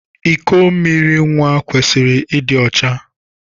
Iko mmiri nwa kwesịrị ịdị ọcha.